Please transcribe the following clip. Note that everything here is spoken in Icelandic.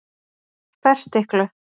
Ferstiklu